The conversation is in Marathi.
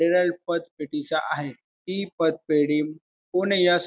हे पतपेढीच आहे हि पतपेढी पुणे यास्--